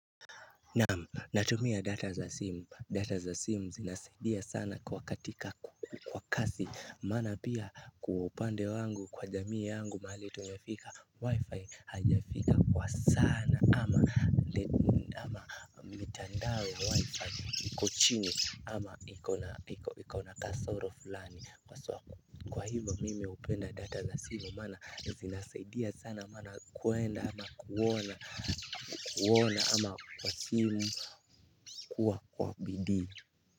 Naam natumia data za simu data za simu zinasaidia sana katika kwa kasi maana pia kwa upande wangu kwa jamii yangu mahali tumefika wi-fi haijafika kwa sana ama mitandao ya wifi iko chini ama iko na kasoro fulani Kwa hivyo mimi hupenda data za simu maana zinasaidia sana maana kuenda ama kuona kuona ama kwa simu kuwa kwa bidi.